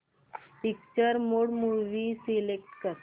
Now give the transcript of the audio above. picture mode movie select कर